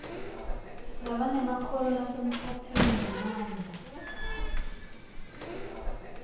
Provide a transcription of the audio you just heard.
labanemakhono lasemkhatsini nemandla